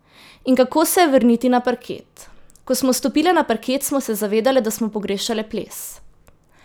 In kako se je vrniti na parket: "Ko smo stopile na parket, smo se zavedale, da smo pogrešale ples.